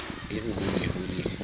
eo ho ne ho le